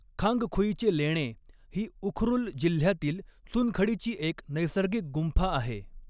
खांगखुईचे लेणे ही उखरुल जिल्ह्यातील चुनखडीची एक नैसर्गिक गुंफा आहे.